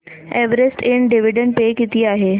Everest ind dividend pay किती आहे